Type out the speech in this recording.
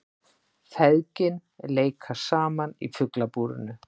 Feðgin leika saman í Fuglabúrinu